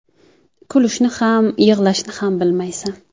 Kulishni ham, yig‘lashni ham bilmaysan.